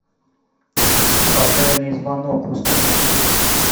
фатальный звонок установи